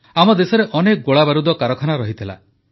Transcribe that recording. ଆମ ଦେଶରେ ଅନେକ ଗୋଳାବାରୁଦ କାରଖାନା ଥିଲା